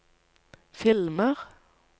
filmer